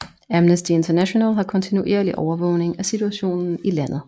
Amnesty International har kontinuerlig overvågning af situationen i landet